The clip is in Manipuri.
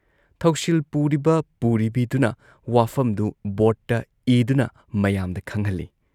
ꯊꯧꯁꯤꯜ ꯄꯨꯔꯤꯕ ꯄꯨꯔꯤꯕꯤꯗꯨꯅ ꯋꯥꯐꯝꯗꯨ ꯕꯣꯔꯗꯇ ꯏꯗꯨꯅ ꯃꯌꯥꯝꯗ ꯈꯪꯍꯜꯂꯤ ꯫